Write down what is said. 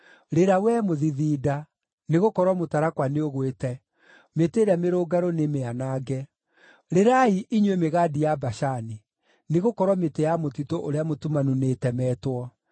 Rĩra, wee mũthithinda, nĩgũkorwo mũtarakwa nĩũgwĩte; mĩtĩ ĩrĩa mĩrũngarũ nĩmĩanange! Rĩrai inyuĩ mĩgandi ya Bashani; nĩgũkorwo mĩtĩ ya mũtitũ ũrĩa mũtumanu nĩĩtemetwo.